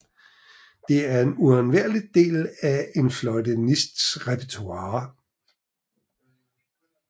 Det er en uundværlig del af en fløjtenists repertoire